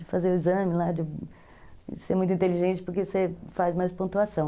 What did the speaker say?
De fazer o exame lá, de ser muito inteligente porque você faz mais pontuação.